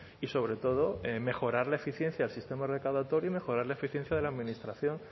y sobre todo mejorar la eficiencia del sistema recaudatorio y mejorar la eficiencia de la administración